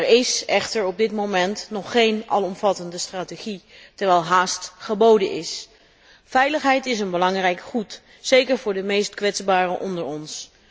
Er is echter op dit moment nog geen alomvattende strategie, terwijl haast geboden is. Veiligheid is een belangrijk goed, zeker voor de meest kwetsbaren onder ons.